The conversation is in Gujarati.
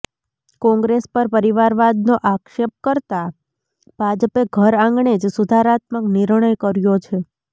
કોંગ્રેસ પર પરિવારવાદનો આક્ષેપ કરતા ભાજપે ઘર આંગણે જ સુધારાત્મક નિર્ણય કર્યો છે